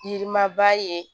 Yiri maba ye